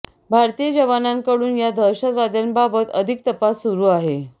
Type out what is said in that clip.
भारतीय जवानांकडून या दहशतवाद्यांबाबत अधिक तपास सुरू आहे